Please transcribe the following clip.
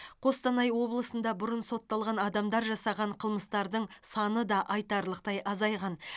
қостанай облысында бұрын сотталған адамдар жасаған қылмыстардың саны да айтарлықтай азайған